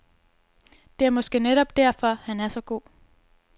Det er måske netop derfor, at han er så god.